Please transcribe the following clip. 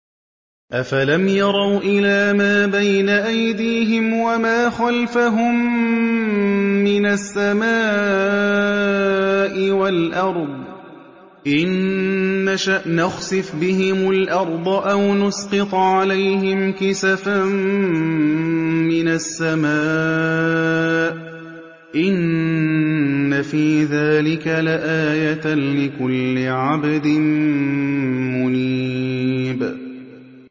أَفَلَمْ يَرَوْا إِلَىٰ مَا بَيْنَ أَيْدِيهِمْ وَمَا خَلْفَهُم مِّنَ السَّمَاءِ وَالْأَرْضِ ۚ إِن نَّشَأْ نَخْسِفْ بِهِمُ الْأَرْضَ أَوْ نُسْقِطْ عَلَيْهِمْ كِسَفًا مِّنَ السَّمَاءِ ۚ إِنَّ فِي ذَٰلِكَ لَآيَةً لِّكُلِّ عَبْدٍ مُّنِيبٍ